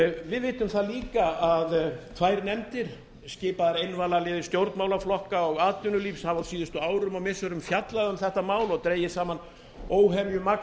við vitum það líka að tvær nefndir skipaðar einvalaliði stjórnmálaflokka og atvinnulífs hafi á síðustu árum og missirum fjallað um þetta mál og dregið saman óhemjumagn